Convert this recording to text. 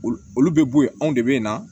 Olu olu bɛ bɔ yen anw de bɛ na